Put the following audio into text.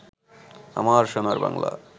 আমার সোনার বাংলা